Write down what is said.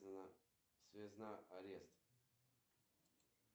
сбер можно включить таймер на полчаса